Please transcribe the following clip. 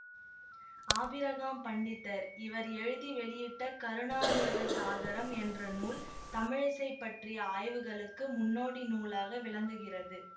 Abraham Pandithar இவர் எழுதி வெளியிட்ட கருணாமிர்த சாகரம் என்ற நூல் தமிழிசை பற்றிய ஆய்வுகளுக்கு முன்னோடி நூலாக விளங்குகிறது